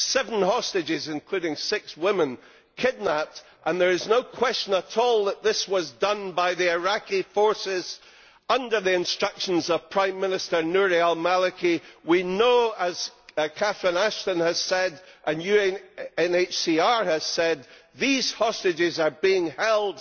Seven hostages, including six women, kidnapped and there is no question at all that this was done by the Iraqi forces under the instructions of Prime Minister Nouri al Maliki. We know, as Catherine Ashton has said, and UNHCR has said, these hostages are being held